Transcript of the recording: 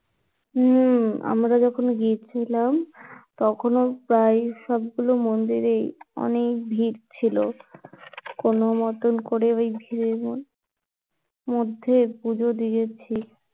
হম আমরা যখন গিয়েছিলাম তখন ও প্রায় সবগুলো মহিলারাই অনেক ভীড় ছিলো, কোন মতন করে ঐ ভীড়ের মধ্যে পূজো দিয়েছি